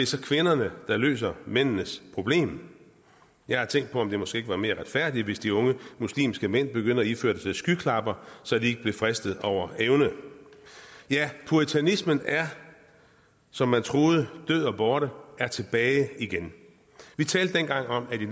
så kvinderne der løser mændenes problem jeg har tænkt på om det måske ikke var mere retfærdigt hvis de unge muslimske mænd begyndte at iføre sig skyklapper så de ikke blev fristet over evne ja puritanismen som man troede død og borte er tilbage igen vi talte dengang om at i